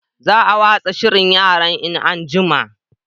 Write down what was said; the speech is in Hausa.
Za a watsa shirin yaran in an'jima